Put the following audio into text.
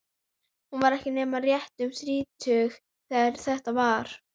Þeir sem fá meira en helming atkvæða hljóta síðan kosningu.